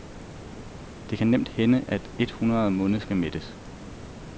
Det kan nemt hænde, at et hundrede munde skal mættes.